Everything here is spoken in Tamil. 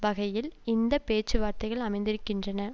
வகையில் இந்த பேச்சுவார்த்தைகள் அமைந்திருக்கின்றன